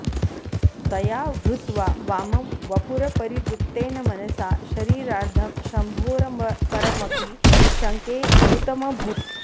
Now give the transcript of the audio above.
त्वया हृत्वा वामं वपुरपरितृप्तेन मनसा शरीरार्धं शम्भोरपरमपि शङ्के हृतमभूत्